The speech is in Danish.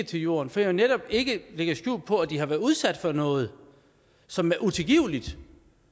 til jorden fordi jeg netop ikke lægger skjul på at de har været udsat for noget som er utilgiveligt